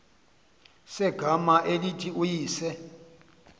segama elithi uyise